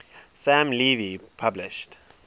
sam levy published